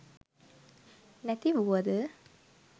නැති වූවද